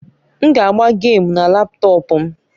M ga agba gèmu na laptọọpụ m